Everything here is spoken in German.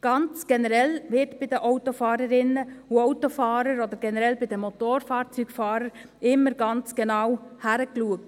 Ganz generell wird bei den Autofahrerinnen und Autofahrern, oder generell bei den Motorfahrzeugfahrern, immer ganz genau hingeschaut.